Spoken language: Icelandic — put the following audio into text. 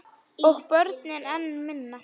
Og börnin enn minna.